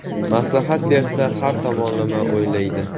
Maslahat bersa, har tomonlama o‘ylaydi.